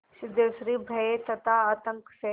सिद्धेश्वरी भय तथा आतंक से